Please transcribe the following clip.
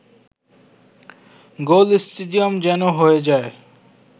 গোল stadium যেন হয়ে যায়